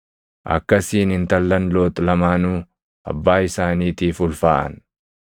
Akkasiin intallan Loox lamaanuu abbaa isaaniitiif ulfaaʼan.